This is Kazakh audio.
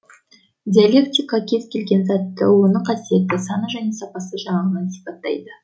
диалектика кез келген затты оның қасиеті саны және сапасы жағынан сипаттайды